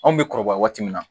Anw bɛ kɔrɔbaya waati min na